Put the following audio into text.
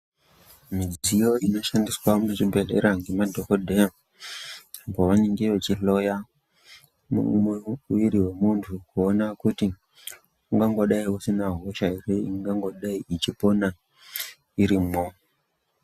Midziyo inoshandiswa mu zvibhedhlera nge madhokoteya pavanenge vechi hloya mu mwiri we muntu kuona kuti ungangodai usina hosha ere ingangodai ichipona irimwo.